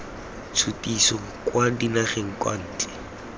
tshutiso kwa dinageng kwa ntle